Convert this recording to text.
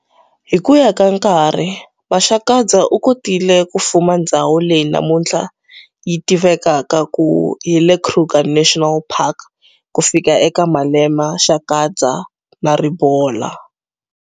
Hi kuya ka nkarhi, Maxakadzi u kotile ku fuma ndzhawu leyi namuntlha yi tivakaka ku hi le Kruger National Park ku fika eka Malema, Shakadza, na Ribola.